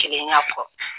Kelen y'a fɔ